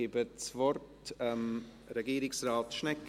Ich gebe das Wort Regierungsrat Schnegg.